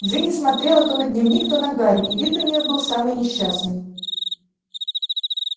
джинни смотрела то на дневник то на гарри и вид у нее был самый несчастный